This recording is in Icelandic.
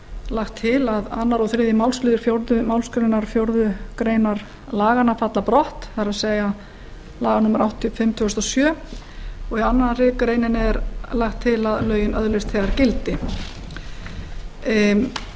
lagt til að öðru og þriðji málsliður fjórðu málsgrein fjórðu grein laganna falli brott það er laga númer áttatíu og fimm tvö þúsund og sjö og í annarri grein er lagt til að lögin öðlist þegar gildi í